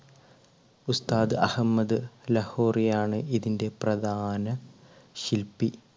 ഉസ്താദ് അഹമ്മദ് ലഹോറിയ ആണ് ഇതിൻറെ പ്രധാന ശില്പി.